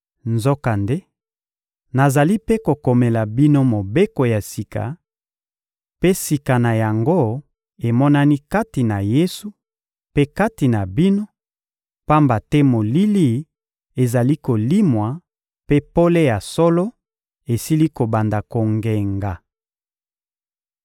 Nzokande, nazali mpe kokomela bino mobeko ya sika, mpe sika na yango emonani kati na Yesu mpe kati na bino, pamba te molili ezali kolimwa mpe pole ya solo esili kobanda kongenga.